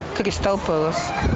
кристал пэлас